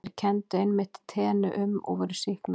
Þeir kenndu einmitt teinu um og voru sýknaðir.